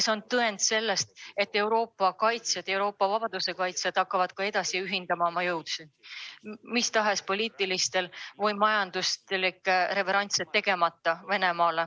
See on tõend sellest, et Euroopa vabaduse kaitsjad ühendavad ka edaspidi oma jõud, tegemata Venemaale mis tahes poliitilisi või majanduslikke reveransse.